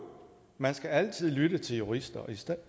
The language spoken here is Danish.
man skal altid lytte til jurister